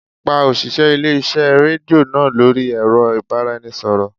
Pa òṣìṣẹ́ ilé-iṣẹ́ rédíò náà lórí ẹ̀rọ ìbáraẹnisọ̀rọ̀